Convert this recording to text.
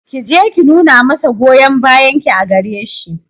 Ki je ki nuna masa goyon bayan ki a gare shi